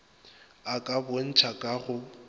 a ka bontšha ka go